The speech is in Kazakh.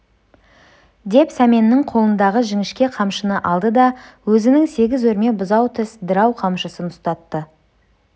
деп сәменнің қолындағы жіңішке қамшыны алды да өзінің сегіз өрме бұзау тіс дырау қамшысын ұстатты